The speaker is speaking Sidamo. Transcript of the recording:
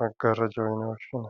maggaarrajaho yine woshshinanni.